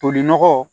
Toli nɔgɔ